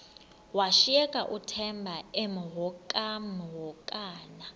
washiyeka uthemba emhokamhokana